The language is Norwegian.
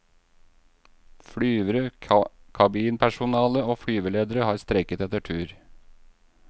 Flyvere, kabinpersonale og flyveledere har streiket etter tur.